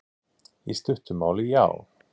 Í stuttu máli, já.